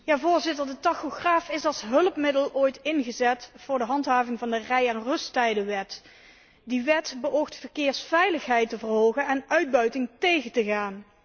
Voorzitter, de tachograaf is als hulpmiddel ooit ingezet voor de handhaving van de rij en rusttijdenwet. Die wet beoogt verkeersveiligheid te verhogen en uitbuiting tegen te gaan.